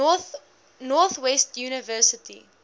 north west university